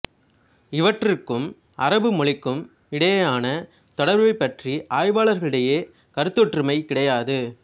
இவற்றுக்கும் அரபு மொழிக்கும் மிடையான தொடர்பு பற்றி ஆய்வாளரிடையே கருத்தொற்றுமை கிடையாது